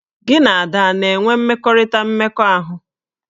Gị na Ada a na-enwe mmekọrịta mmekọahụ?